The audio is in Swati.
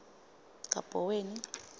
kabhoweni